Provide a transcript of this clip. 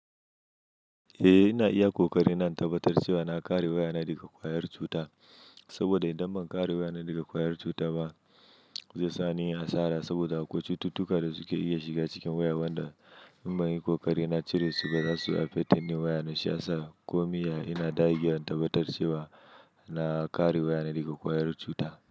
Eh, ina iya ƙoƙari na tabbatar cewa na kare wayana daga ƙwayar cuta. Saboda idan ban kare wayana daga ƙwayar cuta ba, zai sa ni asara saboda akwai cututtuka da suke iya shiga cikin waya, wanda in banyi ƙoƙari na cire su ba za suyi affecting din wayana shi ya sa ko min ya ina dagewan tabbatar cewa na kare wayana daga ƙwayar cuta.